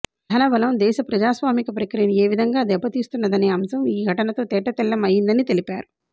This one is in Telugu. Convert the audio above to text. ధనబలం దేశ ప్రజాస్వామిక ప్రక్రియను ఏ విధంగా దెబ్బతీస్తున్నదనే అంశం ఈ ఘటనతో తేటతెల్లం అయిందని తెలిపారు